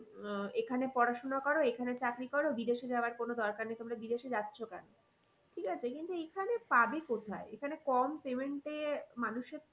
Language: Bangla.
আহ এখানে পড়াশোনা করো এখানে চাকরি করো বিদেশে যাওয়ার কোনো দরকার নেই তোমরা বিদেশে যাচ্ছ কেন? ঠিক আছে কিন্তু এইখানে পাবে কোথায় এখানে কম payment এ মানুষের